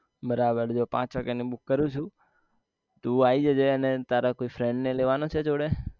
બરાબર જો પાંચ વાગ્યા નું book કરું છુ તું આઈ જજે તારા કોઈ friend ને લેવા નો છે જોડે